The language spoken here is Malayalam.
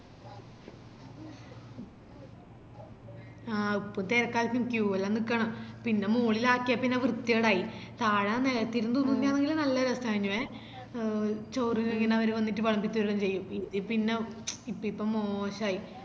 ആഹ് ഇപ്പൊ തെരക്കായിപ്പോയി queue എല്ലം നിക്കണം പിന്ന മോളിലാക്കിയേ പിന്നെ വൃത്തികേടായി താഴെ നെലത്തിരുന്ന് തിന്നുന്നന്നെങ്കില് നല്ലരസയിനുവേ എഹ് ചോറ് ഇങ്ങനെ ഓര് വന്നിറ്റ് വെളമ്പിതെരുവെല്ലാം ചെയ്യും പിന്ന ഇപ്പൊ ഇപ്പൊ മോശായിപ്പോയി